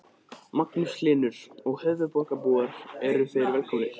Magnús Hlynur: Og höfuðborgarbúar eru þeir velkomnir?